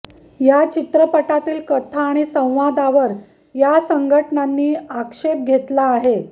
या चित्रपटातील कथा आणि संवादावर या संघटनांनी आक्षेप घेतला आहे